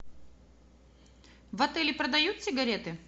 в отеле продают сигареты